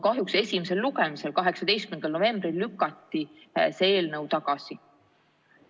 Kahjuks esimesel lugemisel 18. novembril lükati see eelnõu tagasi.